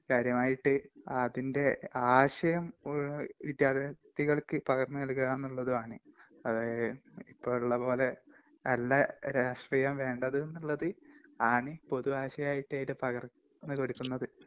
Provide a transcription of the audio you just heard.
...കാര്യമായിട്ട്, അതിന്റെ ആശയം വിദ്യാർത്ഥികൾക്ക് പകർന്നുനൽകുക എന്നുള്ളതുമാണ്.അത്...ഇപ്പൊ ഉള്ളപോലെ അല്ല രാഷ്ട്രീയം വേണ്ടത് ന്നുള്ളത് ആണ് പൊതു ആശയമായിട്ടത്തില് പകർന്നുകൊടുക്കുന്നത്.